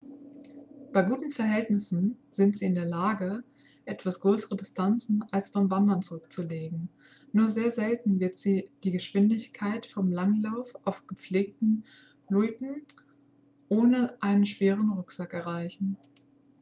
bei guten verhältnissen sind sie in der lage etwas größere distanzen als beim wandern zurückzulegen nur sehr selten werden sie die geschwindigkeit vom langlauf auf gepflegten loipen ohne einen schweren rucksack erreichen